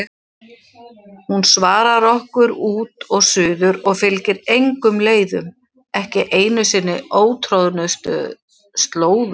Hún svarar okkur út og suður og fylgir engum leiðum, ekki einu sinni ótroðnustu slóðum.